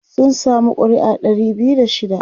sun samu ƙuri'a Dari biyu da shida